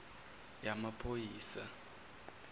yamaphoyisa